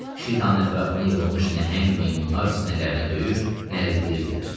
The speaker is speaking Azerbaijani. Şitan ətrafına yığılmış nəhəng meymunlar sinələrinə döyür, nərildiyirdilər.